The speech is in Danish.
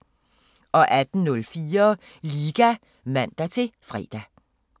18:04: Liga (man-fre)